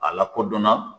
A lakodɔnna